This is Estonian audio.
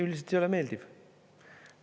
Üldiselt ei ole meeldiv.